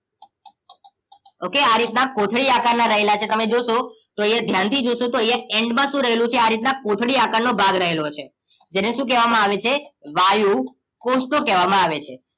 okay આ રીતના કોથળી આકારના રહેલા છે તમે જોશો તો અહિયાં ધ્યાનથી જોશો તો અહીંયા end માં શું રહેલું છે આ રીતના કોથળી આકારનો ભાગ રહેલો છે જેને શું કહેવામાં આવે છે વાયુકોષો કહેવામાં આવે છે